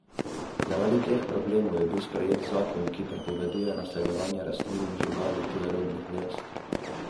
Zaradi teh problemov je bil sprejet zakon, ki prepoveduje naseljevanje rastlin ali živali tujerodnih vrst.